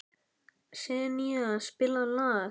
Senía, spilaðu lag.